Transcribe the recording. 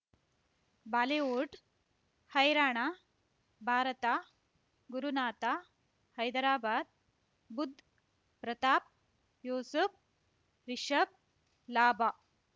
Bollywood ಹೈರಾಣ ಭಾರತ ಗುರುನಾಥ ಹೈದರಾಬಾದ್ ಬುಧ್ ಪ್ರತಾಪ್ ಯೂಸುಫ್ ರಿಷಬ್ ಲಾಭ